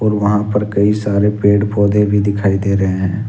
वहां पर कई सारे पेड़ पौधे भी दिखाई दे रहे हैं।